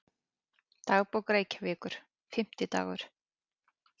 Dagbók Reykjavíkur, Fimmtidagur